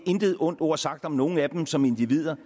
intet ondt ord sagt om nogen af dem som individer